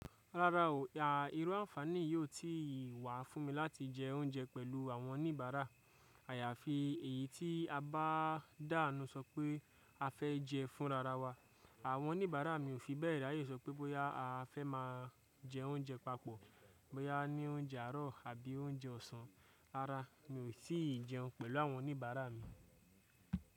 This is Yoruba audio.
Rárá o, ìru ànfàní yí ó ti wà fún mi láti jẹ oúnjẹ pẹ̀lú àwọn oníbàárà. Àyàfi èyí tí a bá dànù sọ pé a fẹ́ jẹ fúnrararwa, àwọn oníbàárà mi ò fi bẹ́ẹ̀ ráyé sọ pé bóyá a fẹ́ má a jẹ oúnjẹ papọ̀, bóyá a ní oúnjẹ àárọ̀ àbí oúnjẹ ọ̀sán. Rárá, mi ò tí ì jẹun pẹ̀lú àwọn oníbàárà mi.